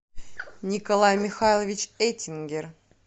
николай михайлович этингер